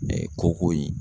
koko in